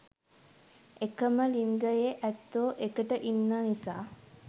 එකම ලින්ගයෙ ඇත්තො එකට ඉන්න නිසා